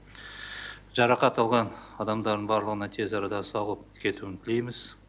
жарақат алған адамдардың барлығына тез арада сауығып кетуін тілейміз